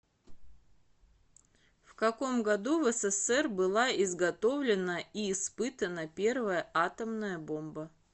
в каком году в ссср была изготовлена и испытана первая атомная бомба